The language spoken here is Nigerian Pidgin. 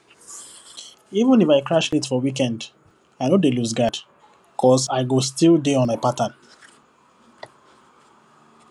even if i crash late for weekend i no dey loseguard cus i go still dey on my pattern